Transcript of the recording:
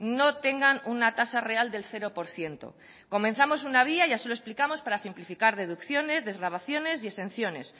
no tengan una tasa real del cero por ciento comenzamos una vía ya se lo explicamos para simplificar deducciones desgravaciones y exenciones